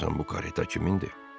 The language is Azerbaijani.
Görəsən bu kareta kimindir?